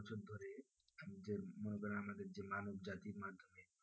যে মানব জাতির মাধ্যমে